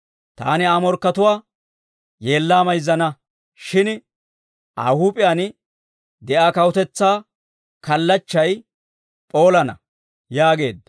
Taani Aa morkkatuwaa yeellaa mayzzana; shin Aa huup'iyaan de'iyaa kawutetsaa kallachchay p'oolana» yaageedda.